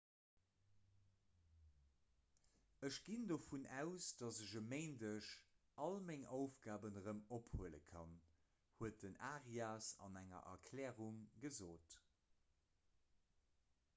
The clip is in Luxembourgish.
ech ginn dovun aus datt ech e méindeg all meng aufgaben erëm ophuele kann huet den arias an enger erklärung gesot